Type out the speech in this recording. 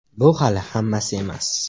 Bu hali hammasi emas!